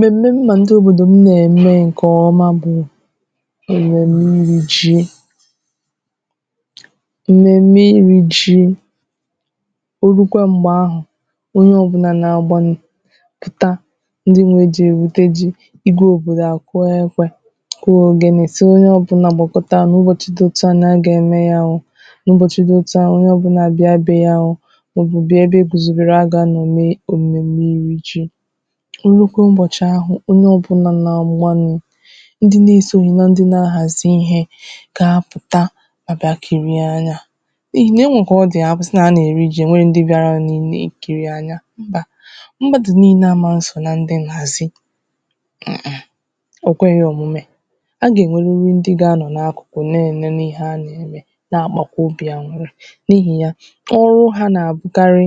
m̀mème m mà ndị òbòdò m nà-ème ǹkè ọma bụ èmème irī ji m̀mème irī ji orukwa m̀gbe ahụ̀ onye ọ̀bụna na-aagba nni taa ndị nwe ji èwète ji igwē òbòdò à kụọ ekwēo kụọ ògene si onye ọ̀bụna gbàkọta nà ụbọchị dị òtu nà a gà-ème ya n’ụbọchị di òtu a onye ọ̀bụna be ya o òbodo ebe e gùzobèrè a gà-anọ̀ èmùme irī ji e nukwe ụbọ̀chị ahụ̀ onye ọbụlà nà-àgbanị ndị na-esōghi na ndị na-aghàzi ihe gà-apụ̀ta àbịa kìrie anyā n’ihì na e nwee kà ọ di àsị na a nà-eri ji ò nweghī ndị bịaranụ na-èkiri anyā mbà mmadụ niile amā nsò na ndị nghàzị mmm ò kweghī òmume a gà-enweruru ndị ga-anọ n’akụkụ na-èmenu ihe a gà-ème na-àkpakwa obi aṅụ̀rị n’ihi ya ọrụ ha nà-àbụkarị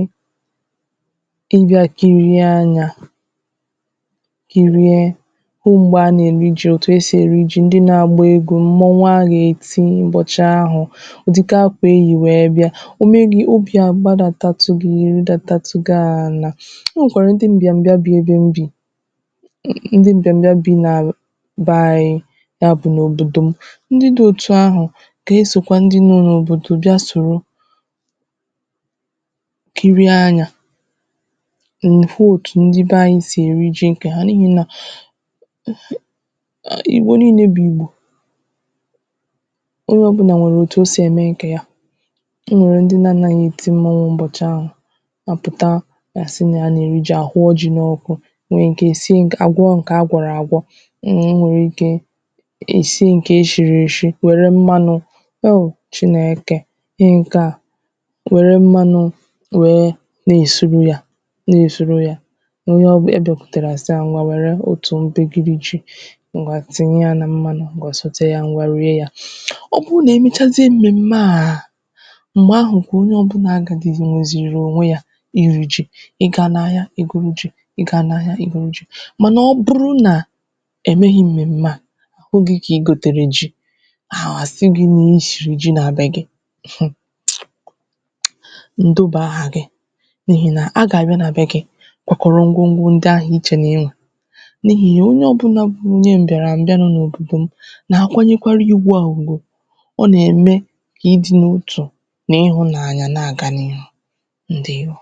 ịbịā kịrị anyā kịrị ruo m̀gbè a na-èri ji otu esì èri ji ndi na-àgba egwu mmọnwụ a gà-èti n’ụbọ̀chị ahụ̀ ụ̀dịka akwà eyì wee bịa o nwekwàrà ndị mbịbịa bi ebe m bì ndị mbịbịa bị n’àlà by ya bụ̀ n’òbòdò ndị di òtu ahụ̀ gà-esòkwa ndị nọ n’obòdò bịa soro kirie anyā ị̀hụ òtù ndị be anyị sì èri ji ǹkè ha n’ihi nà igbo niilē bụ̀ ìgbò onye ọ̀bụna nwèrè out o sì ème ǹkè ya o nwèrè ndị na-anāghị èti mmọnwụ ụbọ̀chị ahụ̀ à pụta gà-àsị nà ya nà-èri ji a ghụọ ji n’ọkụ o nweè ike sie à gwọ ǹkè a gwọ̀rọ̀ àgwọ m e nweè ike è sie ǹkè e shiri èshi wère mmānụ o chineke ihe ǹke a wère mmānụ wère na-èsuru ya na-èsuru ya onye ọ bụ ị bịakwùtèrè àsị ha ngwa wère otù mbigiri ji ngwa tìnye ya na mmānụ ngwa sòte ya ngwa rie ya ọ bụ nà-èmechazie m̀mème m̀gbè ahụ kà onye ọ̀bụla gà dìgozìrì ònwe ya iri ji ịga n’ahịa ị̀ gụrụ ji ịga n’ahịa ị̀ gụrụ ji mànà ọ bụrụ nà è meghi m̀mème a oge kà igòtèrè ji ha àsị n’ushi ji na-adīghị gi ǹdụbà aha gị n’ihi nà agà abịa na be gi kwakọrọ ngwọngwọ ndị ahụ ịchọ na ị nwee n’ihi ya onye ọ̀bụna bụ onye mbịara m̀bịara n’òbòdò m nà-àkwànyerekwa ihe ụbị ụ̀gwụ̀ ọ nà-ème kà ịdị n’otù na ihunanya na-àga n’ihu ǹdewo